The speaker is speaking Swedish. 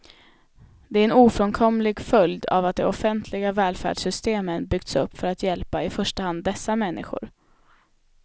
Det är en ofrånkomlig följd av att de offentliga välfärdssystemen byggts upp för att hjälpa i första hand dessa människor.